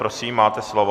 Prosím, máte slovo.